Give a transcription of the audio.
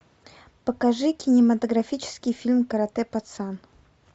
покажи кинематографический фильм каратэ пацан